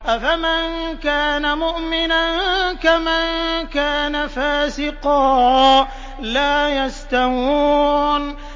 أَفَمَن كَانَ مُؤْمِنًا كَمَن كَانَ فَاسِقًا ۚ لَّا يَسْتَوُونَ